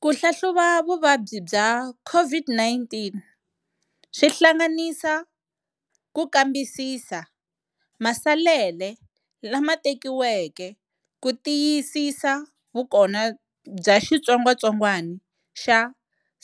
Ku hlahluva vuvabyi bya COVID-19 swi hlanganisa ku kambisisa masalela lama tekiweke ku tiyisisa vukona bya xitsongwatsongwana xa